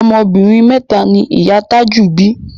Ọmọ obìnrin mẹ́ta ni ìyá a Tájù bí